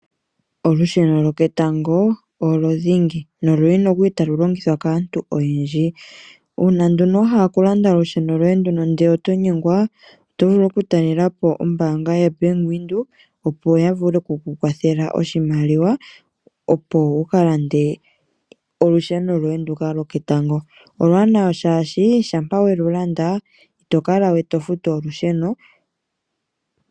Olusheno lwoketango olyo dhingi na oluli halu longithwa kaantu oyendji. Una wahala okulanda olusheno lyoye ndika ndele oto nyengwa otovulu okutalela po ombaanga yaBank Windhoek opo yavule oku kukwathela oshimaliwa opo wuka lande olusheno lyoye ndika lyoketango, oluwanawa shashi shampa welulanda ito kala we tofutu olusheno.